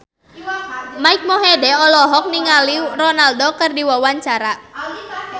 Mike Mohede olohok ningali Ronaldo keur diwawancara